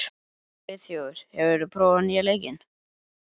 Friðþjófur, hefur þú prófað nýja leikinn?